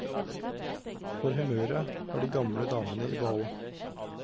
For humøret har de gamle damene i behold.